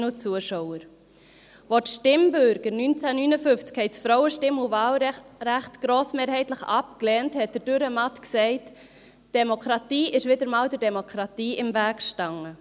Als die Stimmbürger 1959 das Frauenstimm- und wahlrecht grossmehrheitlich ablehnten, sagte Dürrenmatt «Demokratie ist wieder einmal der Demokratie im Weg gestanden».